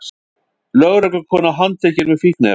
Lögreglukona handtekin með fíkniefni